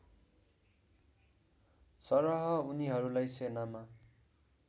सरह उनीहरूलाई सेनामा